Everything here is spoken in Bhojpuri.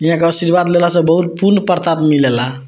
यहाँ क आशीर्वाद लैला से बहुत पुण्य प्रताप मिलेला।